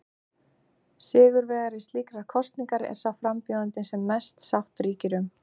Sigurvegari slíkrar kosningar er sá frambjóðandi sem mest sátt ríkir um.